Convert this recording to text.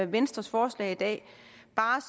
venstres forslag i dag